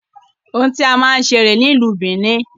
Ohun tí a máa ń ṣe rèé ní ìlú bìíní.